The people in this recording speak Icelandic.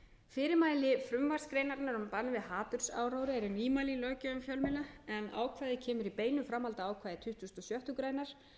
fyrirmæli frumvarpsgreinarinnar um bann við hatursáróðri eru nýmæli í löggjöf um fjölmiðla en ákvæðið kemur í beinu framhaldi af ákvæði tuttugasta og sjöttu greinar